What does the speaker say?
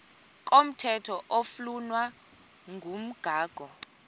komthetho oflunwa ngumgago